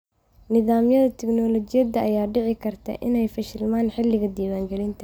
Nidaamyada tignoolajiyada ayaa dhici karta inay fashilmaan xilliga diiwaangelinta.